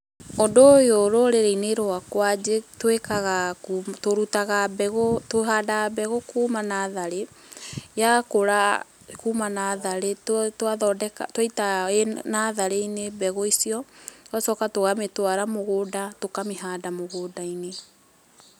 Ũndũ ũyũ rũrĩrĩ-inĩ rwakwa, njĩ twĩkaga kuma, tũrutaga mbegũ, tũhandaga mbegũ kuma natharĩ, yakũra kuma natharĩ, twathondeka, twaita natharĩ-inĩ mbegũ icio, tũgacoka tũkamĩtwara mũgũnda, tũkamĩhanda mũgũnda-inĩ.